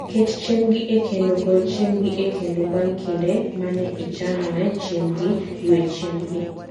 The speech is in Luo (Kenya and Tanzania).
Ket chiembgi e kendo, gol chiembgi e kendo bang' kinde ma ne ichano ne chiembgi, ywe chiembgi